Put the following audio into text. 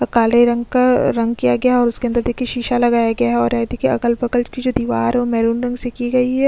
और काले रंग का रंग किया गया है और उसके अंदर देखिए शीशा लगया गया है और अ देखिए जो अगल-बगल की दिवार हैं वो महरून रंग की गई हैं।